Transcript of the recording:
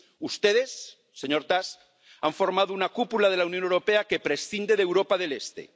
Ustedes, señor Tusk, han formado una cúpula de la Unión Europea que prescinde de Europa del Este.